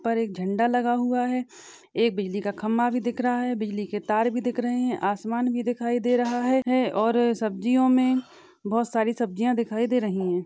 पर एक झंडा लगा हुआ है एक बिजली खंबा भी दिख रहा है बिजली के तारे भी दिख रहे है आसमान भी दिखाई दे रहा है और सब्जीयों मे बहुत सारी सब्ज़ीया दिखाई दे रही है।